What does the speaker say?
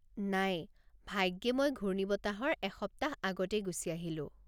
নাই, ভাগ্যে মই ঘূৰ্ণিবতাহৰ এসপ্তাহ আগতেই গুচি আহিলো।